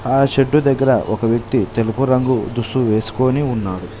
ఆ షెడ్డు దగ్గర ఒక వ్యక్తి తెలుపు రంగు దుస్తులు వేసుకొని ఉన్నాడు.